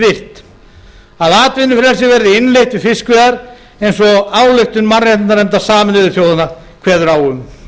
virt að atvinnufrelsi verði innleitt við fiskveiðar eins og ályktun mannréttindanefndar sameinuðu þjóðanna kveður á um